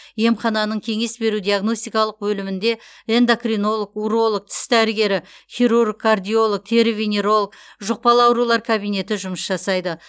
емхананың кеңес беру диагностикалық бөлімінде эндокринолог уролог тіс дәрігері хирург кардиолог тері венеролог жұқпалы аурулар кабинеті жұмыс жасайды